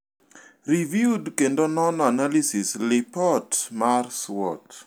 Riviewed kendo nono analysis lipot mar SWOT.